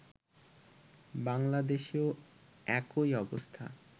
বাংলাদেশেও একই অবস্থা